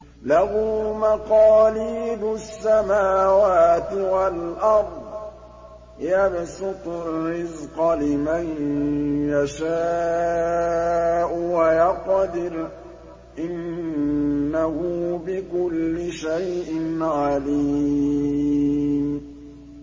لَهُ مَقَالِيدُ السَّمَاوَاتِ وَالْأَرْضِ ۖ يَبْسُطُ الرِّزْقَ لِمَن يَشَاءُ وَيَقْدِرُ ۚ إِنَّهُ بِكُلِّ شَيْءٍ عَلِيمٌ